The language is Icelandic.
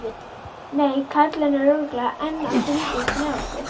Nei, karlinn er örugglega enn að fylgjast með okkur.